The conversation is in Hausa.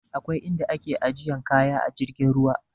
Akwai in da ake ajiyan kaya a jirgin ruwa